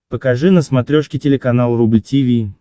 покажи на смотрешке телеканал рубль ти ви